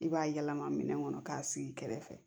I b'a yɛlɛma minɛn kɔnɔ k'a sigi kɛrɛfɛ